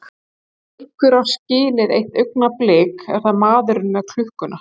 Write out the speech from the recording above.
Ef einhver á skilið eitt augnablik er það maðurinn með klukkuna.